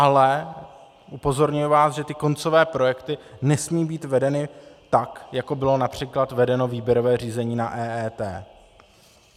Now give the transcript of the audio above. Ale upozorňuji vás, že ty koncové projekty nesmí být vedeny tak, jako bylo například vedeno výběrové řízení na EET.